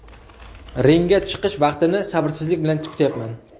Ringga chiqish vaqtini sabrsizlik bilan kutyapman.